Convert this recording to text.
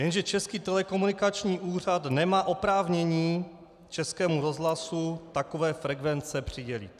Jenže Český telekomunikační úřad nemá oprávnění Českému rozhlasu takové frekvence přidělit.